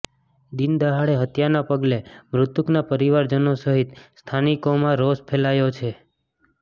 દિન દહાડે હત્યાના પગલે મૃતકના પરિવારજનો સહિત સ્થાનિકોમાં રોષ ફેલાયો છે